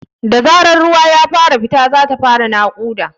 Da zarar ruwa ya fara fita, za ta fara naƙuda ne.